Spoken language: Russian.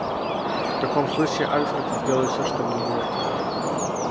в таком случае альфред он сделает всё чтобы не убивать его